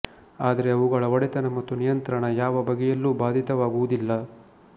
ಆದರೆ ಅವುಗಳ ಒಡೆತನ ಮತ್ತು ನಿಯಂತ್ರಣ ಯಾವ ಬಗೆಯಲ್ಲೂ ಬಾಧಿತವಾಗುವುದಿಲ್ಲ